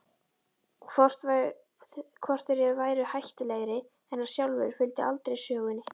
Hvort þeir væru hættulegri en hann sjálfur fylgdi aldrei sögunni.